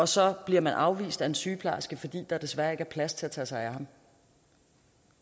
så bliver afvist af en sygeplejerske fordi der desværre ikke er plads til at tage sig